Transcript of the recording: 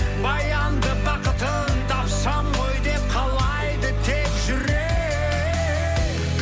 баянды бақытын тапсам ғой деп қалайды тек жүрек